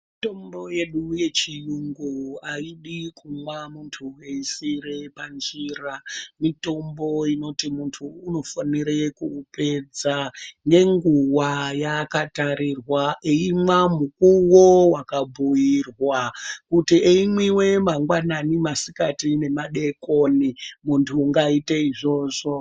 Mitombo yedu yechiyungu ayidi kumwa muntu eyisiyire panjira, mitombo inoti muntu unofanire kuupedza nenguwa yaakatarirwa, eyimwa mukuwo wakabhuyirwa ,kuti eyimwiwa mangwanani, masikati nemadokoni ,muntu ngayite izvozvo.